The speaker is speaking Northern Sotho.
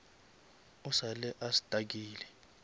o sa le a stuckile